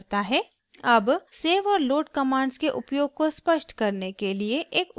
अब save और load commands के उपयोग को स्पष्ट करने के लिए एक उदाहरण देखते हैं